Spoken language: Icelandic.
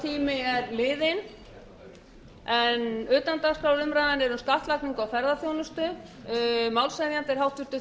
tími er liðinn en utandagskrárumræðan er um skattlagningu á ferðaþjónustu málshefjandi er háttvirtir